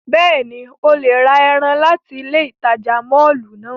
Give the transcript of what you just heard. Bẹ́ẹ̀ni, o le ra ẹran lati ile itaja mọllu náa.